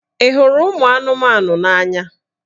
Ị hụrụ ụmụ anụmanụ n'anya?